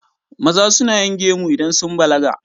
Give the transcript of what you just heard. Maza suna yin gemu idan sun balaga.